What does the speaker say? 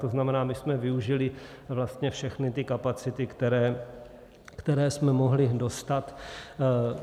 To znamená, my jsme využili vlastně všechny ty kapacity, které jsme mohli dostat.